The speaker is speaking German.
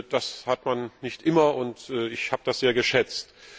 Das hat man nicht immer, und ich habe das sehr geschätzt.